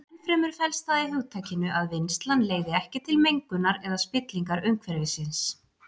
Ennfremur felst það í hugtakinu að vinnslan leiði ekki til mengunar eða spillingar umhverfisins.